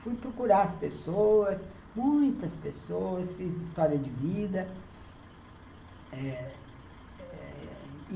Fui procurar as pessoas, muitas pessoas, fiz história de vida. Eh eh